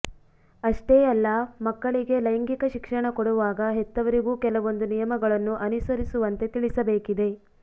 ಅಷ್ಟೇ ಅಲ್ಲ ಮಕ್ಕಳಿಗೆ ಲೈಂಗಿಕ ಶಿಕ್ಷಣ ಕೊಡುವಾಗ ಹೆತ್ತವರಿಗೂ ಕೆಲವೊಂದು ನಿಯಮಗಳನ್ನು ಅನುಸರಿಸುವಂತೆ ತಿಳಿಸಬೇಕಿದೆ